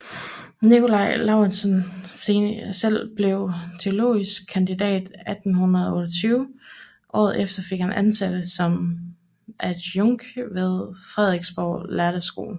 Nikolai Laurentius selv blev teologisk kandidat 1828 og året efter fik han ansættelse som adjunkt ved Frederiksborg lærde Skole